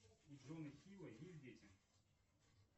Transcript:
у джона хилла есть дети